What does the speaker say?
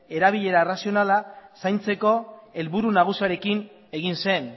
erabilera razionala zaintzeko helburu nagusiarekin egin zen